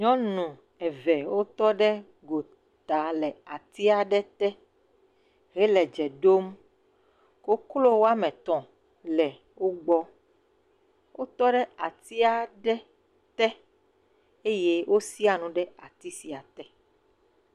Nyɔnu eve wotɔ ɖe gota le ati aɖe te hele dze ɖom. Koklo woame tɔ̃ le wogbɔ. Wotɔ ɖe ati aɖe te eye wosia nu ɖe ati sia te.